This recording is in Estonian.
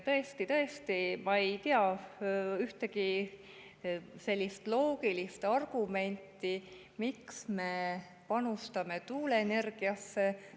Tõesti, ma ei tea ühtegi loogilist argumenti, miks me peaksime panustama tuuleenergiasse.